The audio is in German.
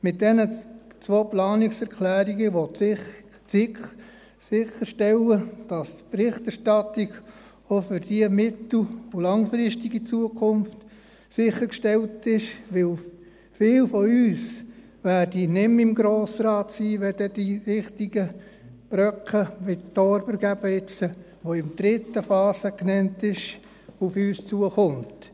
Mit diesen zwei Planungserklärungen will die SiK sicherstellen, dass die Berichterstattung auch für die mittel- und langfristige Zukunft sichergestellt ist, weil viele von uns nicht mehr im Grossen Rat sein werden, wenn dann die wichtigen Brocken wie eben jetzt der Thorberg, der in der dritten Phase genannt ist, auf uns zukommen.